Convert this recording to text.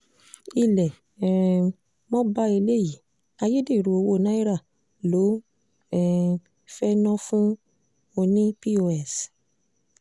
ilé um mo bá eléyìí ayédèrú owó náírà lọ um fee ná fún ọ̀nìpos